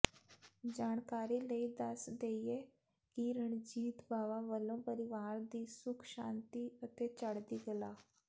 ਜਾਣਕਾਰੀ ਲਈ ਦੱਸ ਦੇਈਏ ਕਿ ਰਣਜੀਤ ਬਾਵਾ ਵੱਲੋਂ ਪਰਿਵਾਰ ਦੀ ਸੁੱਖ ਸ਼ਾਂਤੀ ਅਤੇ ਚੜ੍ਹਦੀ ਕਲਾ